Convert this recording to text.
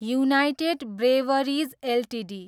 United Breweries Ltd